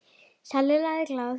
sagði Lalli glaður.